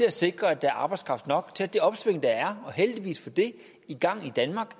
at sikre at der er arbejdskraft nok til at det opsving der er i gang i danmark og